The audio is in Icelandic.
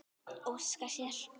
Óska sér.